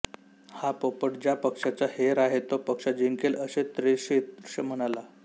हा पोपट ज्या पक्षाचा हेर आहे तो पक्ष जिंकेल असे त्रिशीर्ष म्हणाला